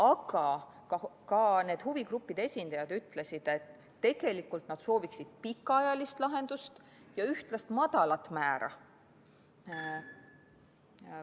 Aga ka huvigruppide esindajad ütlesid, et tegelikult nad sooviksid pikaajalist lahendust ja ühtlast madalat määra.